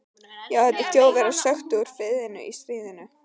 Já, þetta sem Þjóðverjar sökktu úti í firðinum í stríðinu.